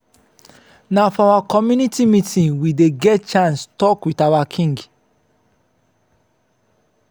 na for our community meeting we dey get chance tok wit our king.